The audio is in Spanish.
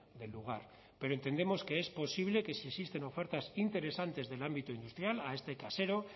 del lugar pero entendemos que es posible que si existen ofertas interesantes del ámbito industrial a este casero